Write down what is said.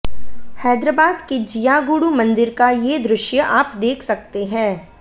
हैदराबाद के जियागुडु मंदिर का ये दृश्य आप देख सकते हैं